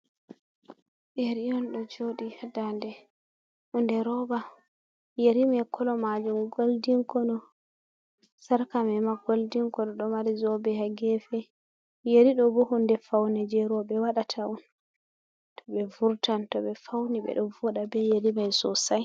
Yeri'on ɗo Joɗi ha Dande, Hunde Roba Yeriman Kolo Majum Goldin, Ko Sarkaman ma Goldin Kolo ɗo Mari Zobe ha Gefe, Yeriɗo bo Hunde Faune je Roɓe Waɗata on toɓe Vurtan toɓe Fauni ɓe ɗo Voɗa be Yerimai Sosai.